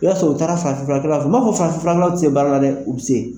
I b'a sɔrɔ u taara farafin furakɛlaw fe ma fɔ farafin filanan ti se baara la dɛ, u bi se.